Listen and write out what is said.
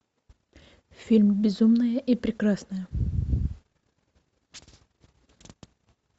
фильм безумная и прекрасная